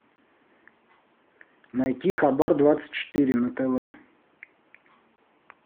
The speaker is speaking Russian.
найти хабар двадцать четыре на тв